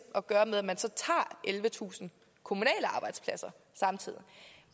at gøre med at man så tager ellevetusind kommunale arbejdspladser samtidig